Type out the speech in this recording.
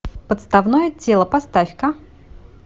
подставное тело поставь ка